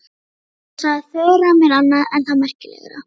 Svo sagði Þura mér annað enn þá merkilegra.